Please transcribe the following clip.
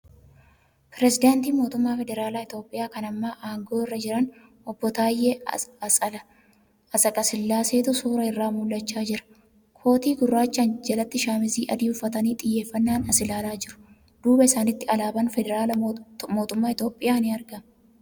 Pireezidaantii mootumma federaalaa Itiyoophiyaa kana amma aangoo irra jiran Obbo Taayyee Atsqasillaaseetu suura irraa mul'achaa jira. Kootii gurraachaan jalatti shaamiza adii uffatanii xiyyeeffanaan as ilaalaa jiru. Duuba isaanitti alaabaan federaalaa mootummaa Itiyoophiyaa ni argama.